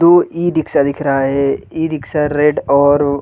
to e rickshaw दिख रहा है इ रिक्शा रेड और --